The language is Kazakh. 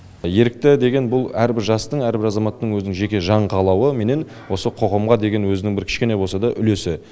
ерікті деген бұл әрбір жастың әрбір азаматтың өзінің жеке жан қалауыменен осы қоғамға деген өзінің кішкене болса да үлесі